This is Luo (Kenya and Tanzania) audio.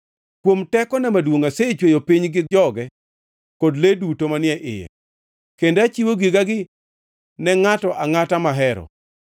Kuom tekona maduongʼ asechweyo piny gi joge kod le duto manie iye, kendo achiwo gigagi ne ngʼato angʼata mahero.